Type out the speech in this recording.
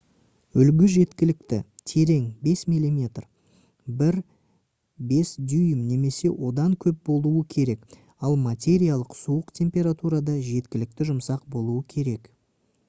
үлгі жеткілікті терең 5 мм 1/5 дюйм немесе одан көп болуы керек ал материал суық температурада жеткілікті жұмсақ болуы керек